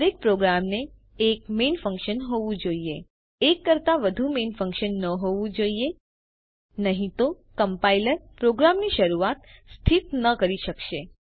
દરેક પ્રોગ્રામ ને એક મેઇન ફન્કશન હોવું જોઈએ એક કરતાં વધુ મેઇન ફન્કશન ન હોવું જોઇએ નહિં તો કમ્પાઇલર પ્રોગ્રામની શરૂઆત સ્થિત ન કરી શકશે